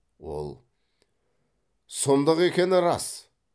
ол сұмдық екені рас